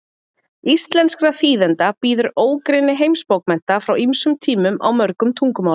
Íslenskra þýðenda bíður ógrynni heimsbókmennta frá ýmsum tímum, á mörgum tungumálum.